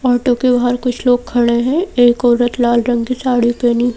auto के बाहर कुछ लोग खड़े है एक औरत लाल रंग की साड़ी पेहनी--